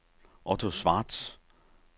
Otto Schwartz